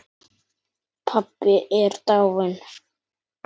Pabbi er dáinn.